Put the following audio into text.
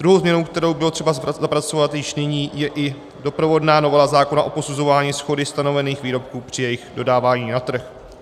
Druhou změnou, kterou bylo třeba zapracovat již nyní, je i doprovodná novela zákona pro posuzování shody stanovených výrobků při jejich dodávání na trh.